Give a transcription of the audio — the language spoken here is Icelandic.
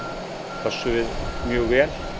pössum við mjög vel